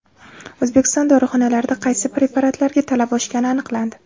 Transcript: O‘zbekiston dorixonalarida qaysi preparatlarga talab oshgani aniqlandi.